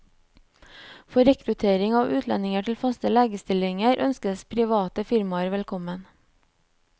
For rekruttering av utlendinger til faste legestillinger ønskes private firmaer velkommen.